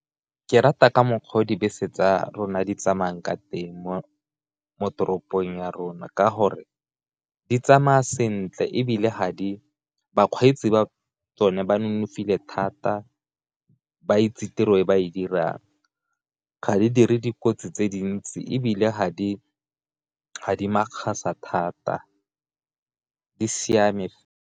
Ke rata ka mokgwa o dibese tsa rona di tsamayang ka teng mo toropong ya rona, ka gore di tsamaya sentle e bile ga di bakgweetsi ba tsone ba nonofile thata ba itse tiro e ba e dirang, ga di dire dikotsi tse dintsi e bile ga di makgakga thata di siame.